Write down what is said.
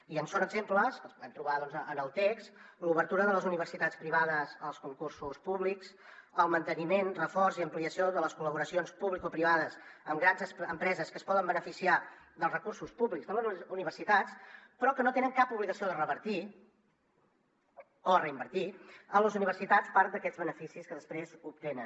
i en són exemples que els podem trobar doncs en el text l’obertura de les universitats privades als concursos públics el manteniment reforç i ampliació de les col·laboracions publicoprivades amb grans empreses que es poden beneficiar dels recursos públics de les universitats però que no tenen cap obligació de revertir o reinvertir a les universitats part d’aquests beneficis que després obtenen